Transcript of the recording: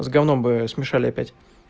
с гавном бы смешали опять